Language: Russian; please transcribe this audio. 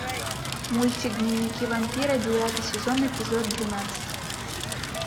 мультик дневники вампира девятый сезон эпизод двенадцать